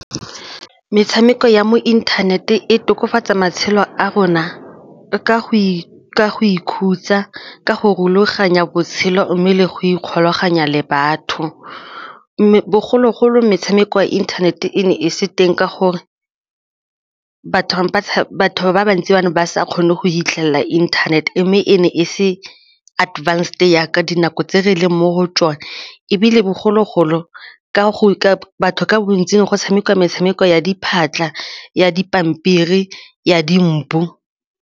Metshameko ya mo internet-w e tokafatsa matshelo a rona ka go ikhutsa, ka go rulaganya botshelo mme le go ikgolaganya le batho mme bogologolo metshameko ya internet-e e ne e se teng ka gore batho ba bantsi ba ne ba sa kgone go fitlhelela inthanete mme e ne e se advanced jaaka dinako tse re leng mo go tsone ebile bogologolo ka go batho ka bontsing go tshameka metshameko ya diphatlha, ya di pampiri, ya di mbu.